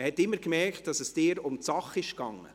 Man hat immer gemerkt, dass es Ihnen um die Sache geht.